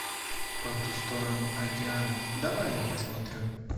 по ту сторону океана давай я посмотрю